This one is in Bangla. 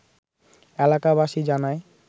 এলাকাবাসী জানায়